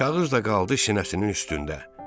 Kağız da qaldı sinəsinin üstündə.